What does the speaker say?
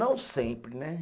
Não sempre, né?